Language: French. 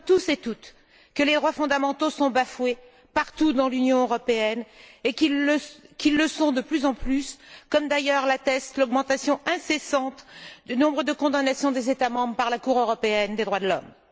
Nous savons tous et toutes que les droits fondamentaux sont bafoués partout dans l'Union européenne et qu'ils le sont de plus en plus, comme l'atteste d'ailleurs l'augmentation incessante du nombre de condamnations des États membres par la Cour européenne des droits de l'homme.